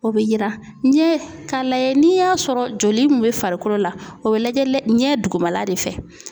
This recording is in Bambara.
O bɛ yira ɲɛ ka lajɛ n'i y'a sɔrɔ joli min bɛ farikolo la o bɛ lajɛ ɲɛ dugumala de fɛ.